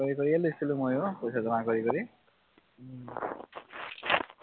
কাম কৰি কৰিয়ে লৈছিলোঁ মইও পইচা জমা কৰি কৰি